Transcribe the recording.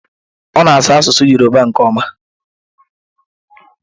Ọ na-asụ asụsụ Yọrụba nke ọma.